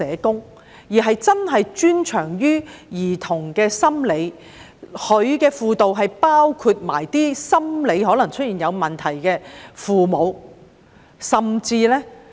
當局應該讓真正專長於兒童心理的專家提供輔導，包括輔導心理可能出現問題的父母。